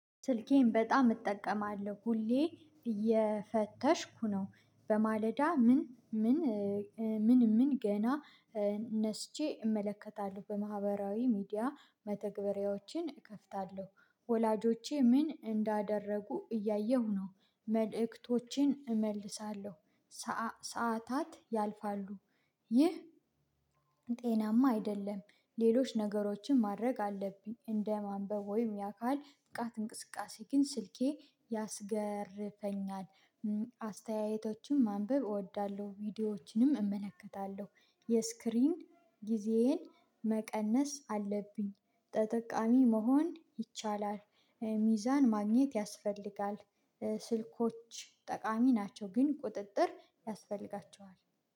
ስልኬን በጣም እጠቀማለሁ ሁሌ እየፈተሽኩ ነው። በማለዳ ምን ምን ምን ምን ገና ተነስቼ እመለከታለሁ በማህበራዊ ሚዲያ መተግበሪያዎችን እከፍታለሁ። ወላጆቼ ምን እንዳደረጉ እያየሁ ነው። መልእክቶችን እመልሳለሁ። ሰዓታት ያልፋሉ ይህ ጤናማ አይደለም። ሌሎች ነገሮችን ማድረግ አለብኝ እንደ ማንበብ ወይም ያካል ብቃት እንቅስቃሴ ግን ስልኬ ያስገርፈኛል። አስተያየቶችን ማንበብ እወዳለሁ ቪዲዮዎችንም እመለከታለሁ። የስክሪን ጊዜዬን መቀነስ አለብኝ። ተጠቃሚ መሆን ይቻላል። ሚዛን ማግኘት ያስፈልጋል። ስልኮች ጠቃሚ ናቸው ግን ቁጥጥር ያስፈልጋቸዋል